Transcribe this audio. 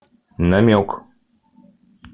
намек